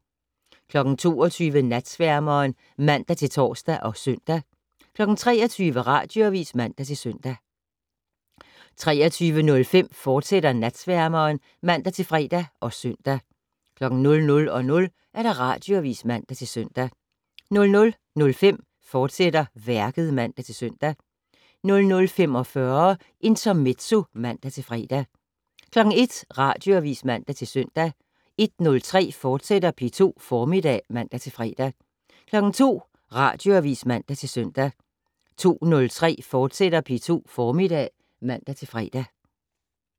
22:00: Natsværmeren (man-tor og søn) 23:00: Radioavis (man-søn) 23:05: Natsværmeren, fortsat (man-fre og søn) 00:00: Radioavis (man-søn) 00:05: Værket *(man-søn) 00:45: Intermezzo (man-fre) 01:00: Radioavis (man-søn) 01:03: P2 Formiddag *(man-fre) 02:00: Radioavis (man-søn) 02:03: P2 Formiddag *(man-fre)